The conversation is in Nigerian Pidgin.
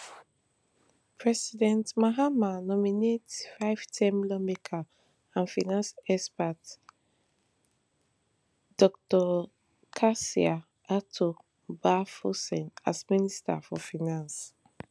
president mahama nominate fiveterm lawmaker and finance expert dr cassiel ato baah forson as minister for finance